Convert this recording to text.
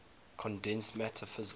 condensed matter physics